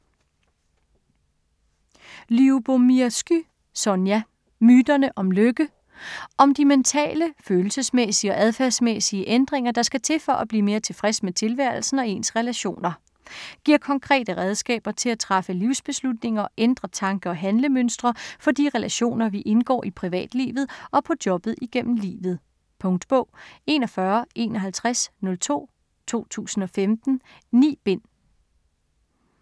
Lyubomirsky, Sonja: Myterne om lykke Om de mentale/følelsesmæssige og adfærdsmæssige ændringer, der skal til for at blive mere tilfreds med tilværelsen og ens relationer. Giver konkrete redskaber til at træffe livsbeslutninger og ændre tanke- og handlemønstre for de relationer, vi indgår i privatlivet og på jobbet igennem livet. Punktbog 415102 2015. 9 bind.